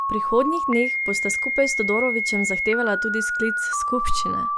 V prihodnjih dneh bosta skupaj s Todorovićem zahtevala tudi sklic skupščine.